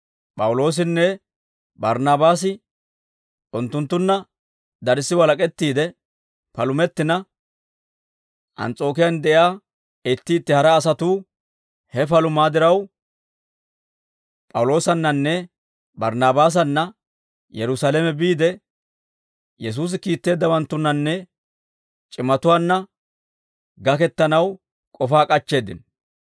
P'awuloosinne Barnaabaasi unttunttunna darssi walak'ettiide palumettina, Ans's'ookiyaan de'iyaa itti itti hara asatuu he palumaa diraw, P'awuloosannanne Barinabaasanna Yerusaalame biide, Yesuusi kiitteeddawanttunnanne c'imatuwaanna gakettanaw k'ofay k'ashetteedda.